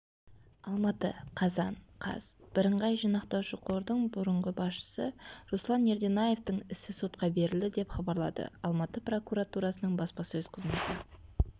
алматы қазан қаз бірыңғай жинақтаушы қордың бұрынғы басшысы руслан ерденаевтың ісі сотқа берілді деп хабарлады алматы прокуратурасының баспасөз қызметі